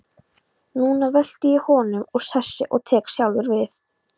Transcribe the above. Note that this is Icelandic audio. Núna velti ég honum úr sessi og tek sjálfur við.